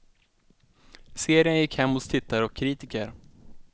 Serien gick hem hos tittare och kritiker.